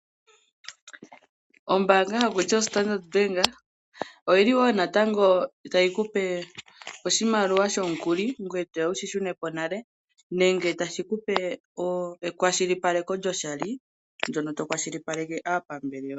Ombaanga ndjono haku tiwa Ostandard Bank oyi li wo natango tayi kupe oshimaliwa shomukuli ngoye etoya wushi shune po nale nenge taye kupe ekwashilipaleko lyoshali ndono to kwashilipaleke aapambele yoye.